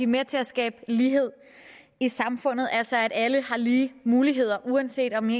med til at skabe lighed i samfundet altså at alle har lige muligheder uanset om